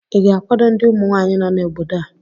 ị ga-akwado ndị ụmụnwanyị nọ n'obodo a?